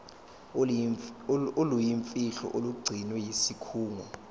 oluyimfihlo olugcinwe yisikhungo